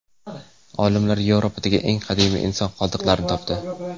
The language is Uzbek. Olimlar Yevropadagi eng qadimiy inson qoldiqlarini topdi.